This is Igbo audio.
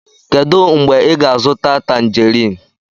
Kedu mgbe ị ga-azụta Tanjerin?